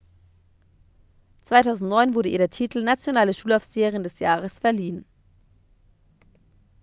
"2009 wurde ihr der titel "nationale schulaufseherin des jahres" verliehen.